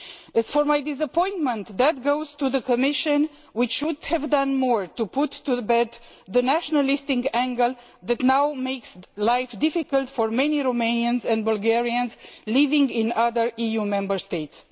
As for my disappointment, that is for the Commission, which should have done more to lay to rest the nationalistic angle that now makes life difficult for many Romanians and Bulgarians living in other EU Member States.